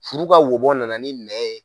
Furu ka wobɔ nana ni nɛn ye.